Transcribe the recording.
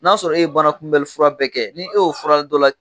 N'a y'a sɔrɔ e ye banakunbɛnli fura bɛɛ kɛ, ni e y'o fura dɔ la kelen